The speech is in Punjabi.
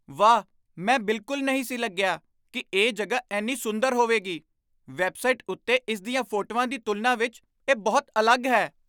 ਵਾਹ! ਮੈਂ ਬਿਲਕੁਲ ਨਹੀਂ ਸੀ ਲੱਗਿਆ ਕਿ ਇਹ ਜਗ੍ਹਾ ਇੰਨੀ ਸੁੰਦਰ ਹੋਵੇਗੀ। ਵੈੱਬਸਾਈਟ ਉੱਤੇ ਇਸ ਦੀਆਂ ਫੋਟੋਆਂ ਦੀ ਤੁਲਨਾ ਵਿੱਚ ਇਹ ਬਹੁਤ ਅਲੱਗ ਹੈ।